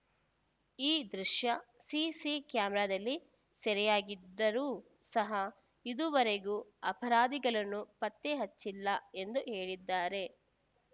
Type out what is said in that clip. ಈ ದೃಶ್ಯ ಸಿಸಿ ಕ್ಯಾಮೆರಾದಲ್ಲಿ ಸೆರೆಯಾಗಿದ್ದರೂ ಸಹಾ ಇದುವರೆಗೂ ಅಪರಾಧಿಗಳನ್ನು ಪತ್ತೆ ಹಚ್ಚಿಲ್ಲ ಎಂದು ಹೇಳಿದ್ದಾರೆ